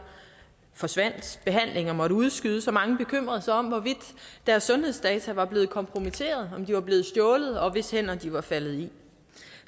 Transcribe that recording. forsvandt og behandlinger måtte udskydes og mange bekymrede sig om hvorvidt deres sundhedsdata var blevet kompromitteret om de var blevet stjålet og hvis hænder de var faldet i